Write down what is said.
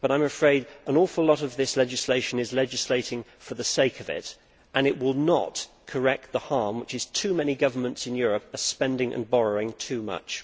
But I am afraid that an awful lot of this legislation is legislating for the sake of it and it will not correct the harm, which is that too many governments in Europe are spending and borrowing too much.